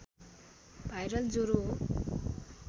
viral ज्वरो हो